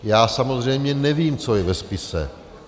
Já samozřejmě nevím, co je ve spise.